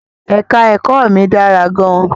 Èka-ẹ̀kọ́ mi dára gan-an.